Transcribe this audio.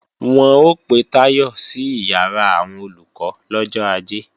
Wọ́n ó pe Táyọ̀ sí ìyàrá àwọn Olùkọ́ lọ́jọ́ Ajé